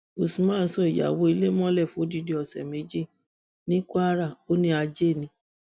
usman so ìyàwó ilé mọlẹ fódìdì ọsẹ méjì ní kwara ó ní ajé ni